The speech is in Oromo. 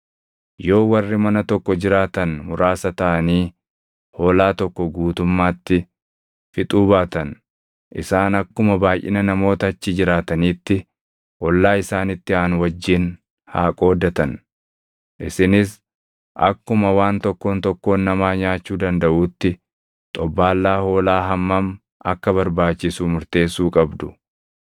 Yoo warri mana tokko jiraatan muraasa taʼanii hoolaa tokko guutummaatti fixuu baatan, isaan akkuma baayʼina namoota achi jiraataniitti ollaa isaanitti aanu wajjin haa qoodatan. Isinis akkuma waan tokkoon tokkoon namaa nyaachuu dandaʼuutti xobbaallaa hoolaa hammam akka barbaachisu murteessuu qabdu.